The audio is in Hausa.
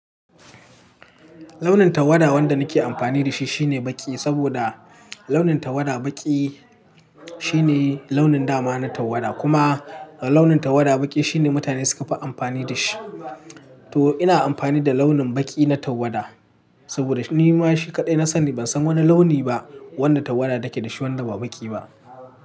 Launin tawada wanda nake amfani da shi shine baƙi saboda launin tawada baƙi shine launin dama na tawada. Kuma launin tawada baƙi shine mutane suka fi amfani da shi. To ina amfani da launin baƙi na tawada saboda ni ma shi kaɗai na sani. Ban san wani launi ba wanda tawada take da shi wanda ba baƙi ba.